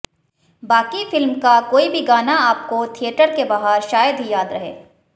बाकी फिल्म का कोई भी गाना आपको थिएटर के बाहर शायद ही याद रहे